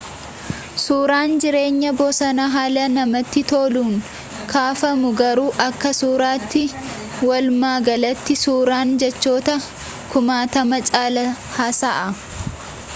suuraan jireenya bosonaa haala namati toluun kaafamu garuu akka suuraati walumagalati suuraan jechoota kumaatama caala haasa'a